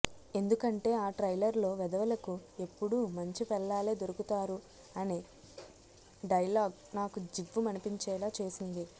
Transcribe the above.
ఎందుకంటే ఆ ట్రైలర్లో వెధవలకు ఎప్పుడూ మంచి పెళ్లాలే దొరుకుతారు అనే డైలాగ్ నాకు జివ్వు మనిపించేలా చేసింది